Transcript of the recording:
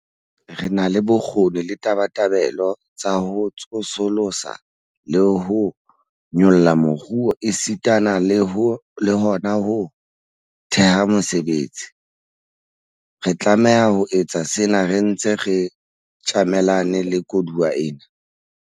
Re na le bokgoni le tabatabelo tsa ho tsosolosa le ho nyolla moruo esitana le hona ho theha mesebetsi. Re tlameha ho etsa sena re ntse re tjamelane le koduwa ena.